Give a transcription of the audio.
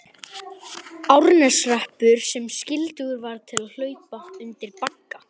Árneshreppur sem skyldugur var til að hlaupa undir bagga.